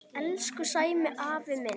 Elsku Sæmi afi minn.